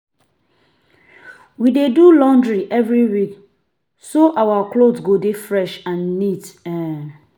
We dey do laundry every week so our clothes go dey fresh and neat. um